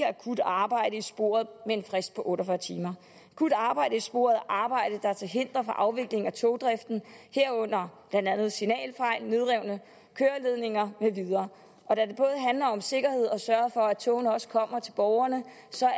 akut arbejde i sporet med en frist på otte og fyrre timer akut arbejde i sporet er arbejde der er til hinder for afviklingen af togdriften herunder blandt andet signalfejl nedrevne køreledninger med videre og da det både handler om sikkerhed og sørge for at togene også kommer til borgerne